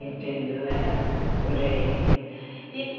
trinta e dois Aham, Por aí.